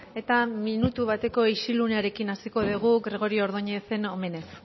eta minutu bateko isilunearekin hasiko dugu gregorio ordóñezen omenez